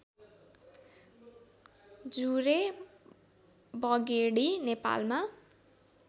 जुरे बगेडी नेपालमा